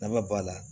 Nafa b'a la